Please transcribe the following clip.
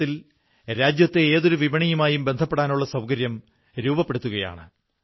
അറിവു പ്രചരിപ്പിക്കുന്നതുപോലുള്ള ശരിയായ ശ്രമങ്ങൾ നടത്തുന്ന എല്ലാ മഹാവ്യക്തിത്വങ്ങളെയും ഹൃദയപൂർവ്വം അഭിനന്ദിക്കുന്നു